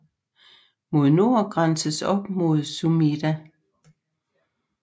Mod nord grænses op mod Sumida